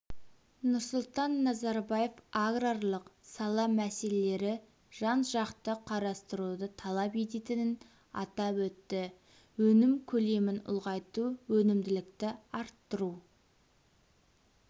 нұрсұлтан назарбаев аграрлық сала мәселелері жан-жақты қарастыруды талап ететінін атап өтті өнім көлемін ұлғайту өнімділікті арттыру